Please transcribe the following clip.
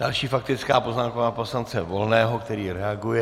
Další faktická poznámka poslance Volného, který reaguje...